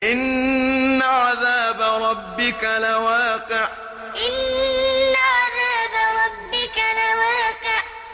إِنَّ عَذَابَ رَبِّكَ لَوَاقِعٌ إِنَّ عَذَابَ رَبِّكَ لَوَاقِعٌ